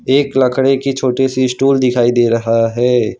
एक लकडे की छोटी सी स्टूल दिखाई दे रहा है।